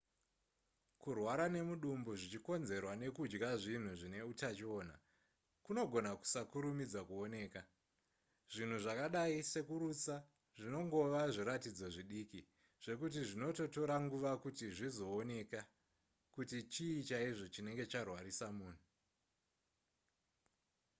kurwara nemudumbu zvichikonzerwa nekudya zvinhu zvine utachiona kunogona kusakurumidza kuoneka zvinhu zvakadai sekurutsa zvinongova zviratidzo zvidiki zvekuti zvinototora nguva kuti zvizooneka kuti chii chaizvo chinenge charwarisa munhu